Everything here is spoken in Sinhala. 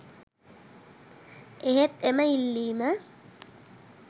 එහෙත් එම ඉල්ලීම